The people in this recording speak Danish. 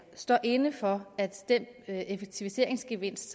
står inde for at den effektiviseringsgevinst